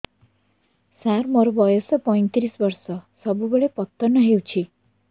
ସାର ମୋର ବୟସ ପୈତିରିଶ ବର୍ଷ ସବୁବେଳେ ପତନ ହେଉଛି